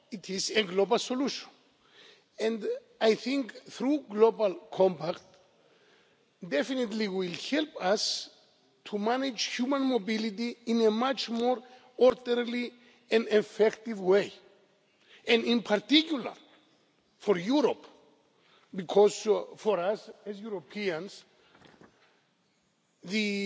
it is a global solution. I think the Global Compact will definitely help us to manage human mobility in a much more orderly and effective way. And in particular for Europe because for us, as Europeans, the